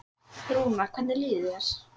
Rúnar, hvernig líður þér?